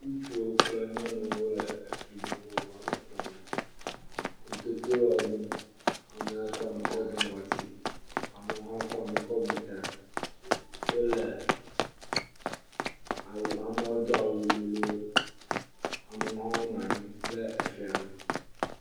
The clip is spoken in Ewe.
Ŋutsuwo kple nyɔnuwo le eʋu vovovowo woame etɔ me. Wo Tokyo yawo ɖom, amewo kɔ nu kɔ bu ŋɔti, amewo hã kɔ nu kɔ bu ta, amewo do awu lolo eye wonɔ anyi ɖe fia gbɔ.